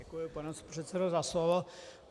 Děkuji, pane předsedo, za slovo.